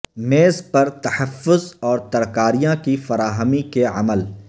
میز پر تحفظ اور ترکاریاں کی فراہمی کے عمل